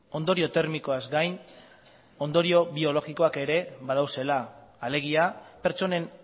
ondorio termikoaz gain ondorio biologikoak ere badaudela alegia pertsonen